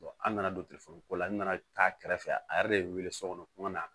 an nana don telefɔniko la n nana taa kɛrɛfɛ a yɛrɛ de ye n wele so kɔnɔ